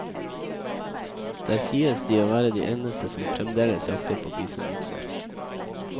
Der sies de å være de eneste som fremdeles jakter på bisonokser.